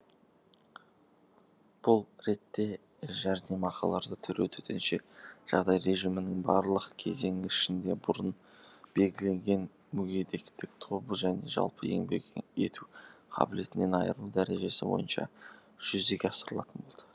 бұл ретте жәрдемақыларды төлеу төтенше жағдай режимінің барлық кезеңі ішінде бұрын белгіленген мүгедектік тобы және жалпы еңбек ету қабілетінен айырылу дәрежесі бойынша жүзеге асырылатын болады